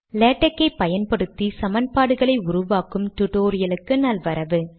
LaTeX ஐ பயன்படுத்தி சமன்பாடுகளை உருவாக்கும் டுடோரியலுக்கு நல்வரவு